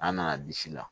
An nana bisi la